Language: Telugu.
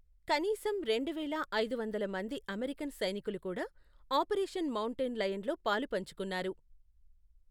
కనీసం రెండు వేల ఐదు వందలు మంది అమెరికన్ సైనికులు కూడా ఆపరేషన్ మౌంటైన్ లయన్లో పాలుపంచుకున్నారు.